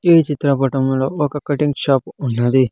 ఈ చిత్రపటంలో ఒక కటింగ్ షాప్ ఉన్నది.